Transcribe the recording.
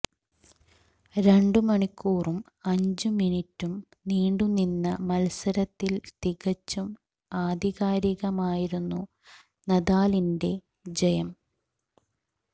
രണ്ടു മണിക്കൂറും അഞ്ചു മിനിട്ടും നീണ്ടുനിന്ന മത്സരത്തിൽ തികച്ചും ആധികാരികമായിരുന്നു നദാലിന്റെ ജയം